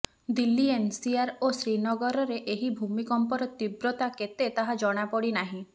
Delhi NCR ଓ ଶ୍ରୀନଗରରେ ଏହି ଭୂକଂପର ତୀବ୍ରତା କେତେ ତାହା ଜଣାପଡ଼ିନାହିଁ